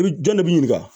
I bi jɔn de b'i ɲininka